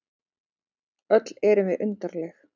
Öll erum við undarleg.